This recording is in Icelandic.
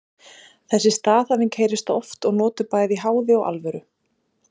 Þessi staðhæfing heyrist oft og notuð bæði í háði og alvöru.